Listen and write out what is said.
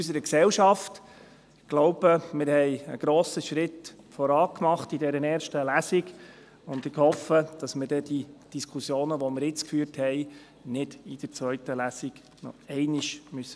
Ich glaube, wir haben in dieser ersten Lesung einen grossen Schritt vorwärts gemacht, und ich hoffe, dass wir die Diskussionen, die wir jetzt geführt haben, nicht in der zweiten Lesung noch einmal führen müssen.